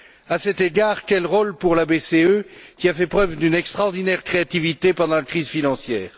À cet égard, quel serait le rôle de la BCE, qui a fait preuve d'une extraordinaire créativité pendant la crise financière.